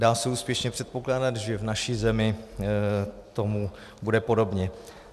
Dá se úspěšně předpokládat, že v naší zemi tomu bude podobně.